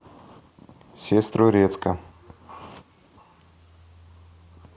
сестрорецка